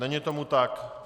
Není tomu tak.